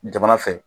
Jamana fɛ